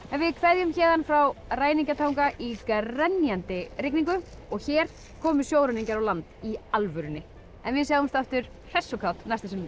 við kveðjum héðan frá ræningja tanga í grenjandi rigningu og hér komu sjóræningjar á land í alvörunni en við sjáumst aftur hress og kát næsta sunnudag